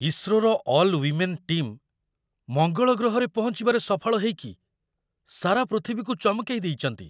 ଇସ୍ରୋର all women team ମଙ୍ଗଳ ଗ୍ରହରେ ପହଞ୍ଚିବାରେ ସଫଳ ହେଇକି ସାରା ପୃଥିବୀକୁ ଚମକେଇ ଦେଇଚନ୍ତି ।